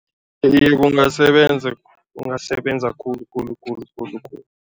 Iye, kungasebenza, kungasebenza khulu khulu khulu khulu.